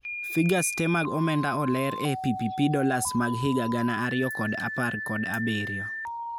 Figures te mag omenda oleer e PPP dollars mag higa gana ariyo kod apar kod abirio.